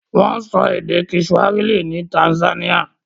Wọ́n sọ èdè kiswahili ní Tanzania.